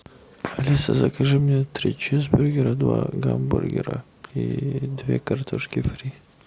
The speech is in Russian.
алиса закажи мне три чизбургера два гамбургера и две картошки фри